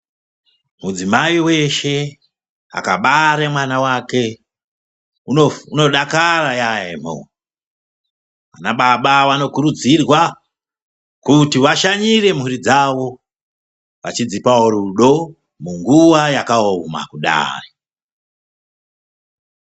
Midzimai weshe akabare mwana wake unodakara yambo , ana baba anokurudzirwa kuti vashanyire mhuri dzawo vachidzipawo rudo munguwa yakaoma kudai.